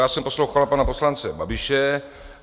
Já jsem poslouchal pana poslance Babiše.